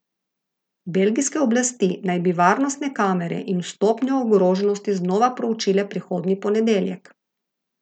Belgijske oblasti naj bi varnostne razmere in stopnjo ogroženosti znova preučile prihodnji ponedeljek.